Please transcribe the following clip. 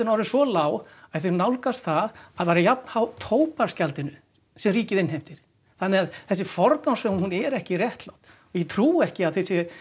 orðin svo lág að þau nálgast það að vera jafn há tóbaksgjaldinu sem ríkið innheimtir þannig að þessi forgangsröðun hún er ekki réttlát og ég trúi ekki að þið séuð